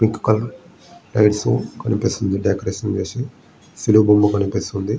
Pink colour lights కనిపిస్తుంది decoration చేసి శిలువ కనిపిస్తుంది.